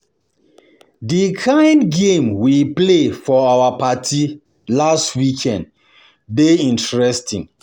The kin game we play for your party last weekend dey interesting